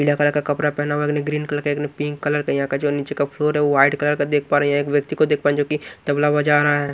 पीला कलर का कपरा पहना हुआ है। एक ने ग्रीन कलर का एक ने पिंक कलर का। यहां का जो नीचे का फ्लोर है वो व्हाइट कलर का देख पा रहे है। एक व्यक्ति देख पान जो कि तबला बजा रहा है।